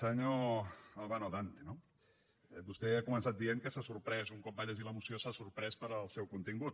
senyor albano dante no vostè ha començat dient que s’ha sorprès un cop ha llegit la moció del seu contingut